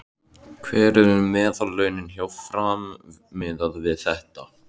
Hver eru meðallaunin hjá Fram miðað við þetta?